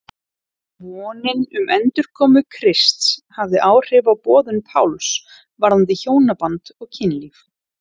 Vonin um endurkomu Krists hafði áhrif á boðun Páls varðandi hjónaband og kynlíf.